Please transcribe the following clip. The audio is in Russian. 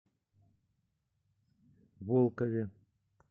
волкове